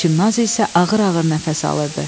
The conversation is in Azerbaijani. Çimnaz isə ağır-ağır nəfəs alırdı.